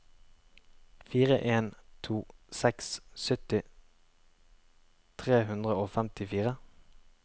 fire en to seks sytti tre hundre og femtifire